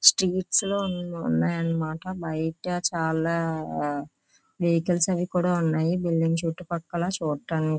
streets అన్నీ ఉన్నాయన్నమాట బయట చాలా వెహికల్స్ అవి కూడా ఉన్నాయి బిల్డింగ్ చుట్టుపక్కల --